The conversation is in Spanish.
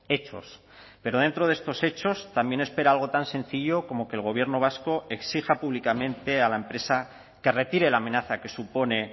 hechos pero dentro de estos hechos también espera algo tan sencillo como que el gobierno vasco exija públicamente a la empresa que retire la amenaza que supone